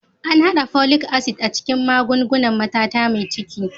An haɗa Folic acid a cikin magungunan matata mai ciki.